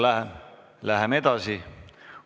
Läheme edasi.